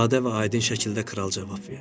Sadə və aydın şəkildə kral cavab verdi.